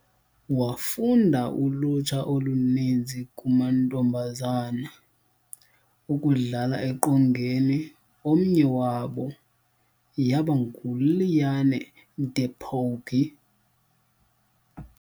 Wafunda ulutsha oluninzi kumantombazana ukudlala eqongeni, omnye wabo yaba nguLiane de Pougy.